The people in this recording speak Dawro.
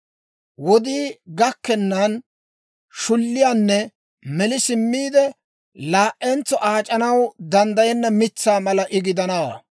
Wodii gakkennan shulliyaanne meli simmiide, laa"entso aac'anaw danddayenna mitsaa mala I gidanawaa.